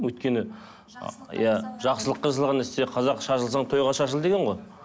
өйткені жақсылыққа жасалған нәрсе қазақ шашылсаң тойға шашыл деген ғой